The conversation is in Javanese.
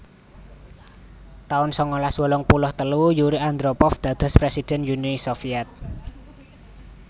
taun sangalas wolung puluh telu Yuri Andropov dados presiden Uni Soviet